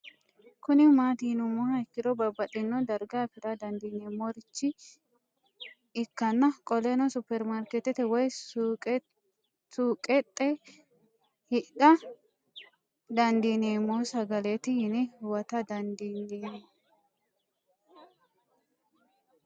Kuni mati yinumoha ikiro babaxino no darga afira dandinemorich ikana qoleno supermarket woyi suuqexe hidha dandinemo sagalet yiine huwata dandinemo